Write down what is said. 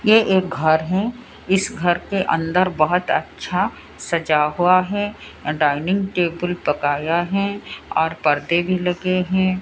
ये एक घर है इस घर के अंदर बहोत अच्छा सजा हुआ है डाइनिंग टेबल पकाया है और परदे भी लगे हैं।